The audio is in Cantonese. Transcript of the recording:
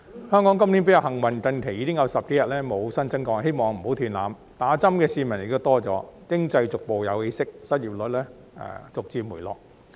香港今年比較幸運，近期已經有10多天無新增個案，希望不要斷纜，打針的市民亦多了，經濟逐步有起色，失業率逐漸回落。